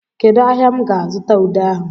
Kedụ ahịa m ga-azụta ude ahụ?